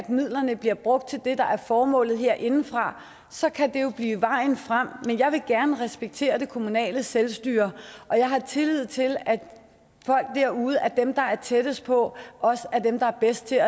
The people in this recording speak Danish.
midlerne bliver brugt til det der er formålet herindefra så kan det jo blive vejen frem men jeg vil gerne respektere det kommunale selvstyre og jeg har tillid til at folk derude dem der er tættest på også er dem der er bedst til